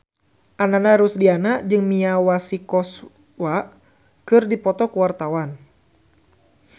Ananda Rusdiana jeung Mia Masikowska keur dipoto ku wartawan